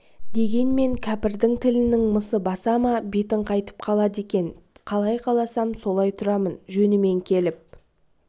дегенмен кәпірдің тілінің мысы баса ма бетің қайтып қалады екен қалай қаласам солай тұрамын жөнімен келіп